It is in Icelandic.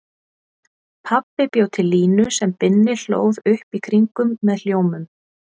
Pabbi bjó til línu sem Binni hlóð upp í kringum með hljómum.